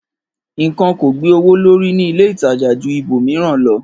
Ìkan ko gbe owo lori ni ile ìtajà ju ibo miran lọ